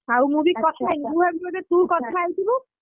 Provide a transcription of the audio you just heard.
ଆଉ ମୁଁ ବି କଥା ହେଇନି ଆଛା ମୁଁ ଭାବିଲି ବୋଧେ ତୁ କଥା ହେଇଥିବୁ,